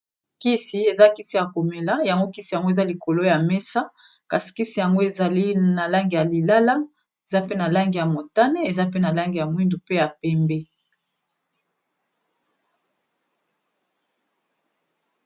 kisi eza kisi ya komela yango kisi yango eza likolo ya mesa kasi kisi yango ezali na langi ya lilala eza pe na langi ya motane eza pe na langi ya mwindu pe ya pembe